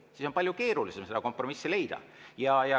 Siis on palju keerulisem seda kompromissi leida.